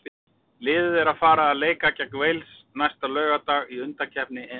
Liðið er að fara að leika gegn Wales næsta laugardag í undankeppni EM.